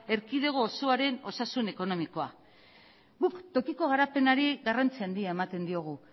erkidego osoaren osasun ekonomikoa guk tokiko garapenari garrantzi handia ematen diogu